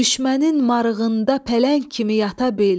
Düşmənin marığında pələng kimi yata bil.